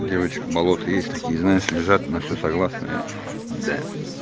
девочка болото есть такие знаешь лежат на всё согласная да